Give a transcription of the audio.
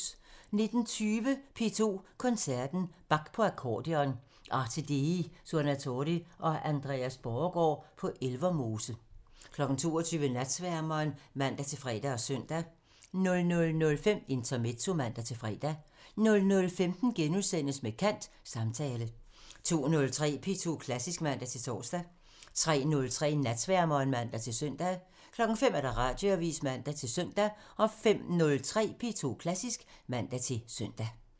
19:20: P2 Koncerten – Bach på akkordeon – Arte Dei Suonatori og Andreas Borregaard på Elvermose 22:00: Natsværmeren (man-fre og søn) 00:05: Intermezzo (man-fre) 00:15: Med kant – Samtale * 02:03: P2 Klassisk (man-tor) 03:03: Natsværmeren (man-søn) 05:00: Radioavisen (man-søn) 05:03: P2 Klassisk (man-søn)